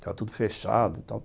Estava tudo fechado e tal.